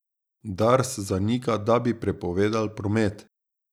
Dars zanika, da bi prepovedal promet.